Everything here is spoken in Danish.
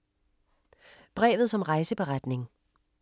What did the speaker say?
Brevet som rejseberetning